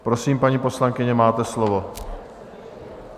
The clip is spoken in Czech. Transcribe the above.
Prosím, paní poslankyně, máte slovo.